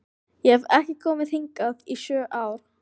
Ég hef ekki komið hingað í sjö ár